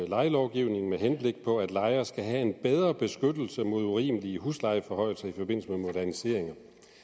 lejelovgivningen med henblik på at lejere skal have en bedre beskyttelse mod urimelige huslejeforhøjelser i forbindelse med moderniseringer